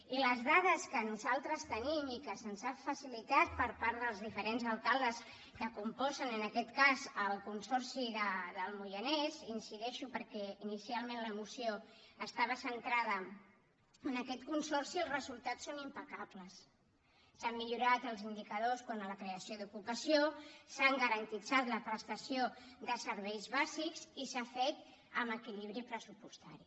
i per les dades que nosaltres tenim i que se’ns han facilitat per part dels diferents alcaldes que componen en aquest cas el consorci del moianès hi incideixo perquè inicialment la moció estava centrada en aquest consorci els resultats són impecables s’han millorat els indicadors quant a la creació d’ocupació s’ha garantit la prestació de serveis bàsics i s’ha fet amb equilibri pressupostari